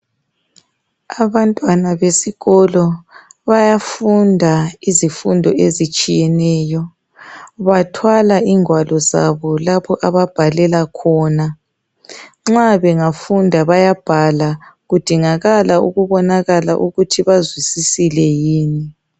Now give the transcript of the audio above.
Abantwana besikolo bayafunda izifundo ezitshiyeneyo bathwala ingwalo zabo lapho ababhalela khona. Nxa bengafunda bayabhala kudingakala ukubonakala ukuthi bazwisisile yini.